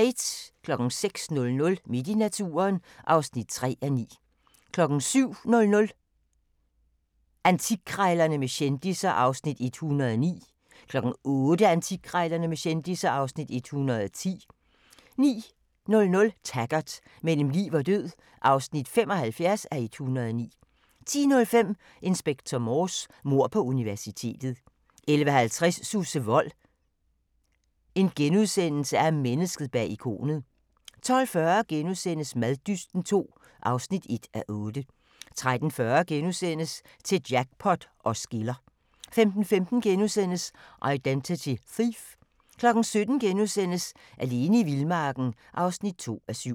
06:00: Midt i naturen (3:9) 07:00: Antikkrejlerne med kendisser (Afs. 109) 08:00: Antikkrejlerne med kendisser (Afs. 110) 09:00: Taggart: Mellem liv og død (75:109) 10:05: Inspector Morse: Mord på universitetet 11:50: Susse Wold – Mennesket bag ikonet * 12:40: Maddysten II (1:8)* 13:40: Til jackpot os skiller * 15:15: Identity Thief * 17:00: Alene i vildmarken (2:7)*